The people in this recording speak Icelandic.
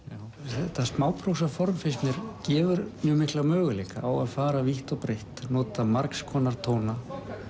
þetta gefur mjög mikla möguleika á að fara vítt og breitt nota margskonar tóna